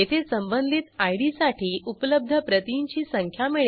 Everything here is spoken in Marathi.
रिक्वेस्ट द्वारे आपल्याला डेटिओफ्रेचर्न मिळेल जी रिटर्न्डेट मधे संचित करू